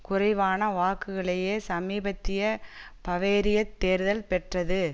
குறைவான வாக்குகளையே சமீபத்திய பவேரியத் தேர்தல் பெற்றது